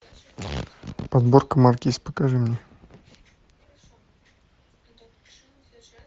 подборка маркиз покажи мне